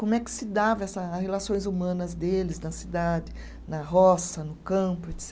Como é que se dava essa, a relações humanas deles na cidade, na roça, no campo,